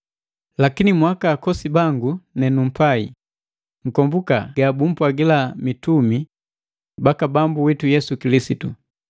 Lakini mwaaka akosi bangu nenumpai, nkombuka ga bumpwagila mitumi baka Bambu witu Yesu Kilisitu.